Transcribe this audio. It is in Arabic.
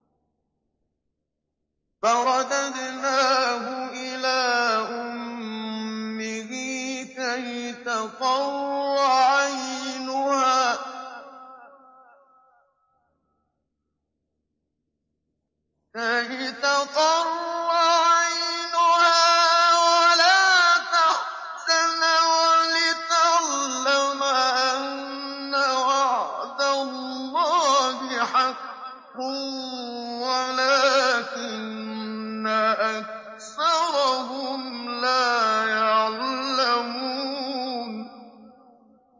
فَرَدَدْنَاهُ إِلَىٰ أُمِّهِ كَيْ تَقَرَّ عَيْنُهَا وَلَا تَحْزَنَ وَلِتَعْلَمَ أَنَّ وَعْدَ اللَّهِ حَقٌّ وَلَٰكِنَّ أَكْثَرَهُمْ لَا يَعْلَمُونَ